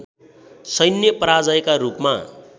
सैन्य पराजयका रूपमा